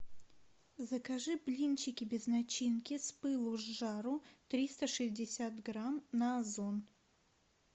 закажи блинчики без начинки с пылу с жару триста шестьдесят грамм на озон